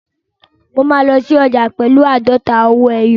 Mo máa lọ sí ọjà pẹ̀lú àádọ́ta owó ẹyọ.